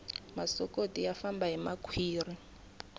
masokoti ya famba hi makhwiri